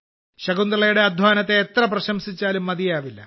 ശകുന്തളയുടെ അധ്വാനത്തെ എത്ര പ്രശംസിച്ചാലും മതിയാവില്ല